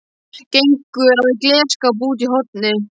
Gengur að glerskáp úti í horni.